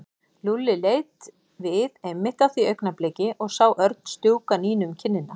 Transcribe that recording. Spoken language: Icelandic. Lúlli leit við einmitt á því augnabliki og sá Örn strjúka Nínu um kinnina.